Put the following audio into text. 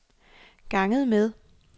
ganget med